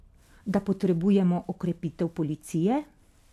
Da potrebujemo okrepitev policije?